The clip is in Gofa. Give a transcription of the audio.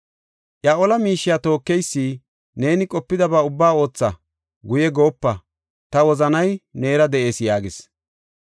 Iya ola miishiya tookeysi, “Neeni qopidaba ubbaa ootha; guye goopa; ta wozanay neera de7ees” yaagis.